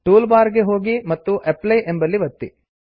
tool bar ಗೆ ಹೋಗಿ ಮತ್ತು ಅಪ್ಲೈ ಅಪ್ಲೈ ಎಂಬಲ್ಲಿ ಒತ್ತಿ